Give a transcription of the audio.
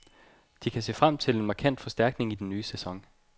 De kan se frem til en markant forstærkning i den nye sæson.